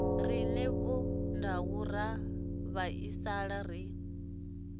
rine vhondau ra vhaisala ri